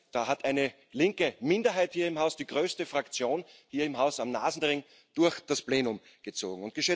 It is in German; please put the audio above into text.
Da hat eine linke Minderheit hier im Haus die größte Fraktion hier im Haus am Nasenring durch das Plenum gezogen.